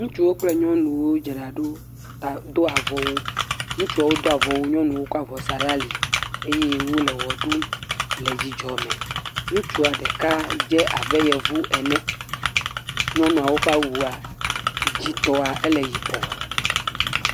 Ŋutsuwo kple nyɔnuwo dzra ɖo ta, do avɔwu. Ŋutsuwo do avɔwu, nyɔnuwo kɔ avɔ sa ɖe ali eye wole wɔ ɖum le dzidzɔ me. Ŋutsua ɖeka dzé abe Yovu ene. Nyɔnuawo ƒe awua, dzidzitɔa, ele yibɔɔ.